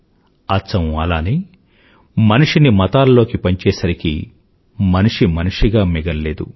అచ్చం అలానే మనిషిని మతాల్లోకి పంచేసరికీ మనిషి మనిషిగా మిగలలేదు